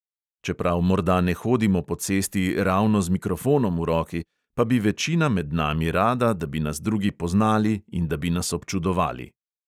Čeprav morda ne hodimo po cesti ravno z mikrofonom v roki, pa bi večina med nami rada, da bi nas drugi poznali in da bi nas občudovali.